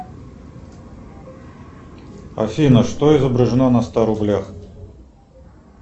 афина что изображено на ста рублях